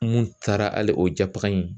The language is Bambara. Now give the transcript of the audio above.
Mun taara hali o jabaga in